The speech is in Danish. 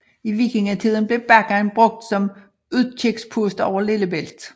I vikingetiden blev bakken brugt som udkigspunkt over Lillebælt